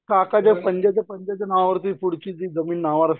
आखा दिवस पंज्याच्या पंज्याच्या नावावरती पुढची जी जमीन नावावरती असतें